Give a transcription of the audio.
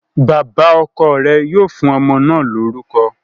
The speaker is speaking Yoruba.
Bàbá ọkọ̀ rẹ̀ yóò fún ọmọ náà lórúkọ